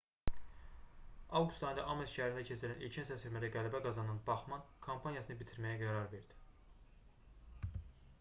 avqust ayında ames şəhərində keçirilən ilkin səsvermədə qələbə qazanan baxmann kampaniyasını bitirməyə qərar verdi